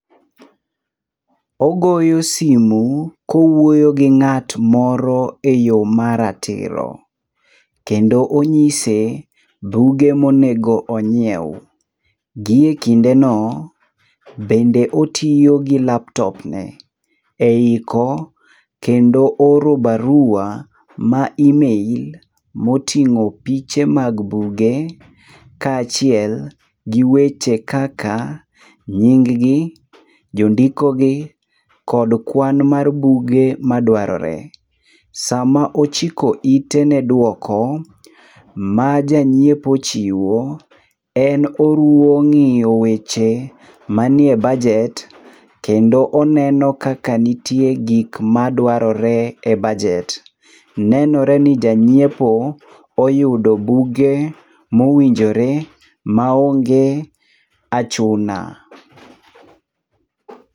Ogoyo simu kowuoyo gi ng'at moro eyoo maratiro. Kendo onyise buge monego onyiew. Gi ekindeno, bende otiyo gi laptop ne eiko, kendo oro barua mar email moting'o piche mag buge kaachiel gi weche kaka nying gi, jondiko gi kod kwan mar buge madwarore. Sama ochiko ite ne dwoko ma janyiepo chiwo, en oruwo ng'iyo weche manie bajet kendo oneno kaka nitie gik madwarore ebajet. Nenore ni janyiepo oyudo buge mowinjore maonge achuna.